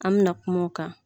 An mi na kuma o kan.